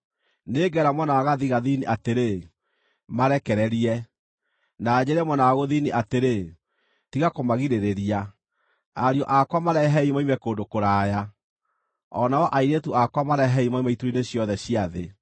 Nĩngeera mwena wa gathigathini atĩrĩ, ‘Marekererie!’ na njĩĩre mwena wa gũthini atĩrĩ, ‘Tiga kũmagirĩrĩria.’ Ariũ akwa marehei moime kũndũ kũraya, o nao airĩtu akwa marehei moime ituri-inĩ ciothe cia thĩ: